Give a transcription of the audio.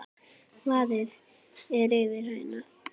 Vaðið er yfir hina.